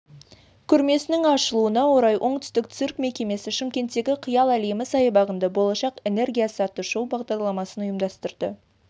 көрмесінің ашылуына орай оңтүстік цирк мекемесі шымкенттегі қиял лемі саябағында болашақ энергиясы атты шоу бағдарламасын ұйымдастырды